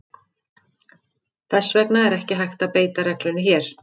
Þess vegna er ekki hægt að beita reglunni hér.